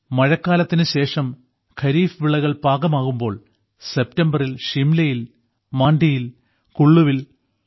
ഹിമാചൽ പ്രദേശിൽ മഴക്കാലത്തിനുശേഷം ഖരീഫ് വിളകൾ പാകമാകുമ്പോൾ സെപ്റ്റംബറിൽ ഷിംലയിൽ മാണ്ഡിയിൽ കുള്ളുവിൽ